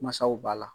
Mansaw b'a la